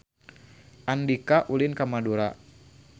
Andika ulin ka Madura